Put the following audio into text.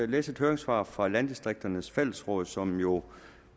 læse et høringssvar op fra landdistrikternes fællesråd som jo